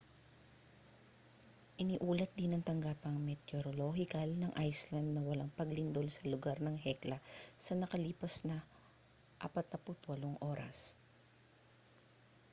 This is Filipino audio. iniulat din ng tanggapang meteorolohikal ng iceland na walang paglindol sa lugar ng hekla sa nakalipas na 48 oras